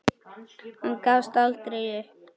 Hann gafst aldrei upp.